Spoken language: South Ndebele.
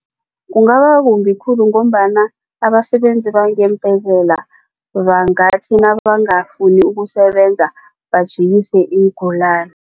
Kungaba kumbi khulu ngombana abasebenzi bangeembhedlela bangathi nabangafuni ukusebenza bajikise iingulani.